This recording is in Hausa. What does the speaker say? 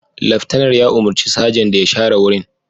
Laftanar ya umurci sajan da ya share wurin